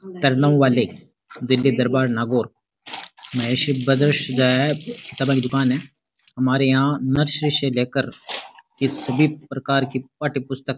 तरनाऊ वाले दिल्ली दरबार नागौर माहेश्वरी ब्रदर्स सिजाया है किताबां की दुकान है हमारे यहाँ नर्सरी से ले कर किसी भी प्रकार की पाठ्य पुस्तक --